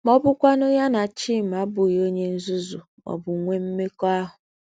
Ma ọ bụkwanụ ya na Chima abụghị onye nzuzu ma ọ bụ nwee mmekọahụ.